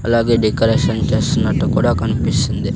అలాగే డెకరేషన్ చేస్తున్నట్టు కూడా కన్పిస్తుంది.